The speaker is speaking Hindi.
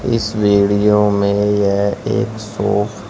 इस वीडियो में यह एक शॉप --